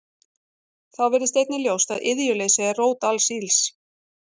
Þá virðist einnig ljóst að iðjuleysi er rót alls ills.